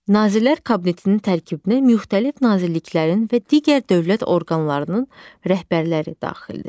Nazirlər Kabinetinin tərkibinə müxtəlif nazirliklərin və digər dövlət orqanlarının rəhbərləri daxildir.